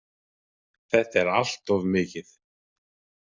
Þetta er allt of mikið!